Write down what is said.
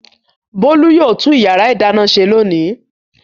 Bólú yóò tún ìyàrá-ìdáná ṣe lónìí.